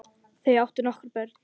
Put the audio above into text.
Þau áttu nokkur börn.